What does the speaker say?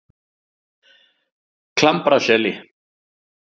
Klambraseli